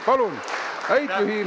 Häid pühi!